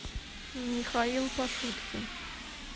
михаил пашуткин